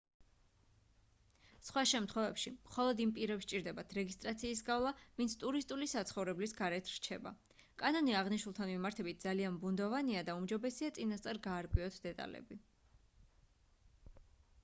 სხვა შემთხვევებში მხოლოდ იმ პირებს სჭირდებათ რეგისტრაციის გავლა ვინც ტურისტული საცხოვრებელის გარეთ რჩება კანონი აღნიშნულთან მიმართებით ძალიან ბუნდოვანია და უმჯობესია წინასწარ გაარკვიოთ დეტალები